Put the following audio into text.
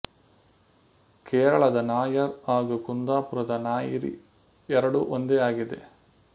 ಕೇರಳದ ನಾಯರ್ ಹಾಗೂ ಕುಂದಾಪುರದ ನಾಯಿರಿ ಎರಡೂ ಒಂದೇ ಆಗಿದೆ